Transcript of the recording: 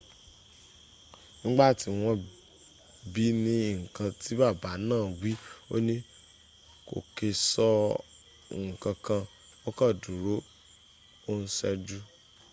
nígbàtí wọ́n bií ní nkan tí bàbá náà wí óní kò kè sọ nkankan ó kàn dúró o n ṣẹ́jú